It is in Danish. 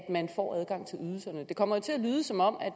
at man får adgang til ydelserne det kommer jo til at lyde som om